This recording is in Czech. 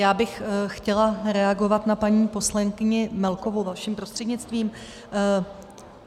Já bych chtěla reagovat na paní poslankyni Melkovou vaším prostřednictvím.